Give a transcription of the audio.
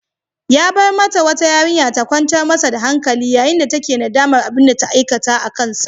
Ya bar mata wata yarinya ta kwantar masa da hankali, yayin da take nadamar abinda ta aikata akansa